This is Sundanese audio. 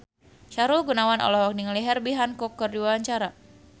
Sahrul Gunawan olohok ningali Herbie Hancock keur diwawancara